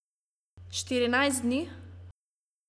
Štirinajst dni?